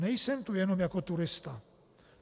Nejsem tu jenom jako turista.